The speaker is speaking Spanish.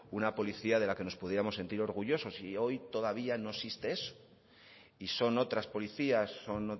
una policía de la que nos pudiéramos sentir orgullosos y hoy todavía no existe eso y son otras policías son